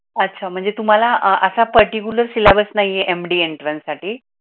अच्छा म्हणजे तुम्हाला अह अस पार्टीक्युलर सीलेबस नाहीये MD एंट्रेन्स साठी.